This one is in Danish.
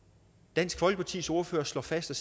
dansk folkepartis ordfører slår fast at